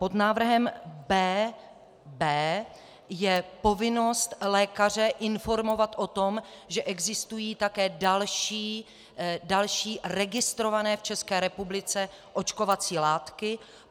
Pod návrhem B.B je povinnost lékaře informovat o tom, že existují také další registrované v České republice očkovací látky.